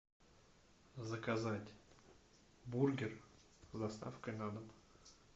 заказать бургер с доставкой на дом